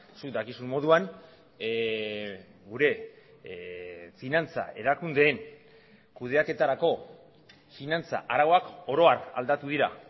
zuk dakizun moduan gure finantza erakundeen kudeaketarako finantza arauak oro har aldatu dira